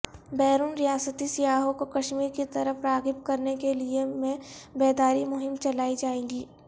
بیرون ریاستی سیاحوں کو کشمیر کی طرف راغب کرنے کیلئے میں بیداری مہم چلائی جائیگی